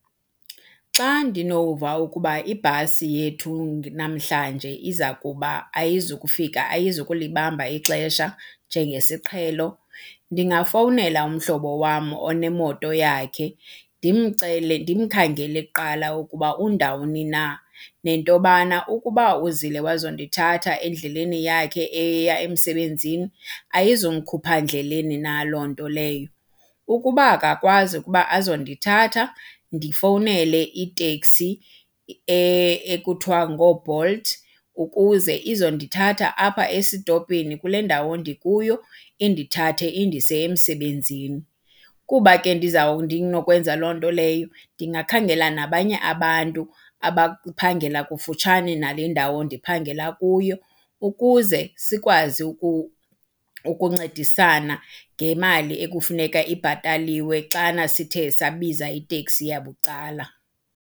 Xa ndinova ukuba ibhasi yethu namhlanje iza kuba, ayizukufika ayizukulibamba ixesha njengesiqhelo ndingafowunela umhlobo wam onemoto yakhe ndimcele, ndimkhangele kuqala ukuba undawoni na nento yobana ukuba uzile wazondithatha endleleni yakhe eya emsebenzini ayizumkhupha ndleleni na loo nto leyo. Ukuba akakwazi ukuba azondithatha, ndifowunele iteksi ekuthiwa ngooBolt ukuze izondithatha apha esitopini kule ndawo ndikuyo indithathe indise emsebenzini. Kuba ke ndinokwenza loo nto leyo ndingakhangela nabanye abantu abaphangela kufutshane nale ndawo ndiphangela kuyo ukuze sikwazi ukuncedisana ngemali ekufuneka ibhataliwe xana sithe sabiza iteksi yabucala.